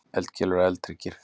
Eldkeilur og eldhryggir.